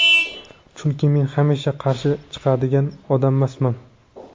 Chunki men hamisha qarshi chiqadigan odammasman.